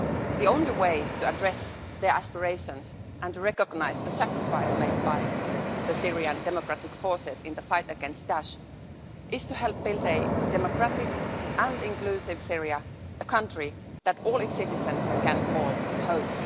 The only way to address their aspirations and recognise the sacrifice made by the Syrian Democratic Forces in the fight against Daesh is to help build a democratic and inclusive Syria a country that all its citizens can home.